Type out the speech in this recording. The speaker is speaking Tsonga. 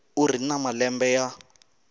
u ri na malembe ya